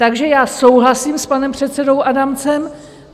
Takže já souhlasím s panem předsedou Adamcem.